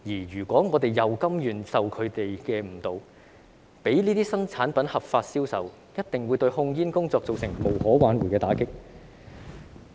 如果我們甘願受他們誤導，讓這些新產品合法銷售，一定會對控煙工作造成無可挽回的打擊。